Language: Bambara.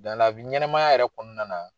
ɲɛnamaya yɛrɛ kɔnɔna na,